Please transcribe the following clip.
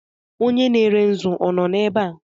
Onye na-ere nzu ọ nọ ebe a?